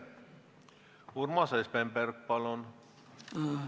Urmas Espenberg, palun!